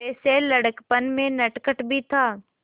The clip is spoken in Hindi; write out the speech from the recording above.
वैसे लड़कपन में नटखट भी था